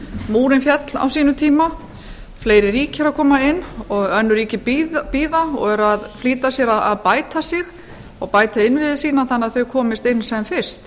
múrinn féll á sínum tíma fleiri ríki eru að koma inn og önnur ríki bíða og eru að flýta sér að bæta sig og bæta innviði sína þannig að þau komist inn sem fyrst